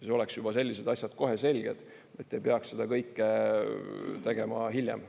Sellised asjad peavad olema kohe selged, et ei peaks seda kõike tegema hiljem.